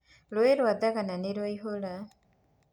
Rũĩ rũa thagana nĩ rũaihũra.